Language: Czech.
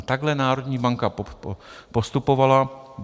A takhle národní banka postupovala.